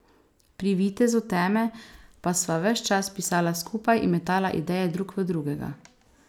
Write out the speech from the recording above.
Pri Vitezu teme pa sva ves čas pisala skupaj in metala ideje drug v drugega.